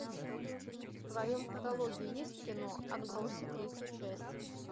в твоем каталоге есть кино отбросы третья часть